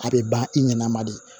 A bɛ ban i ɲɛna ma de